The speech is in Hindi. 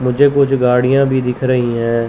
मुझे कुछ गाड़ियां भी दिख रहीं हैं।